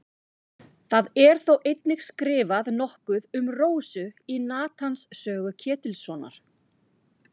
Það er þó einnig skrifað nokkuð um Rósu í Natans sögu Ketilssonar.